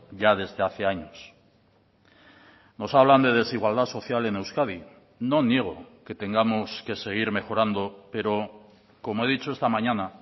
ya desde hace años nos hablan de desigualdad social en euskadi no niego que tengamos que seguir mejorando pero como he dicho esta mañana